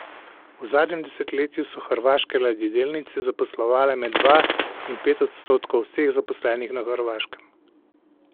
V zadnjem desetletju so hrvaške ladjedelnice zaposlovale med dva in pet odstotkov vseh zaposlenih na Hrvaškem.